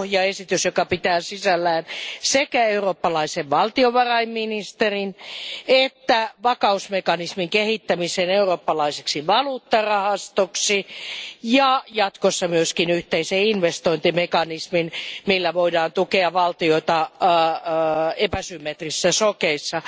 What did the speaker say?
Pohjaesitys pitää sisällään sekä eurooppalaisen valtiovarainministerin että vakausmekanismin kehittämisen eurooppalaiseksi valuuttarahastoksi ja jatkossa myös yhteisen investointimekanismin, millä voidaan tukea valtioita epäsymmetrisissä shokeissa, ja